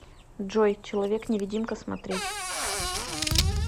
джой человек невидимка смотреть